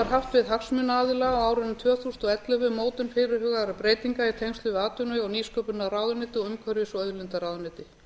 haft við hagsmunaaðila á árinu tvö þúsund og ellefu um mótun fyrirhugaðra breytinga í tengslum við atvinnuvega og nýsköpunarráðuneyti og umhverfis og auðlindaráðuneyti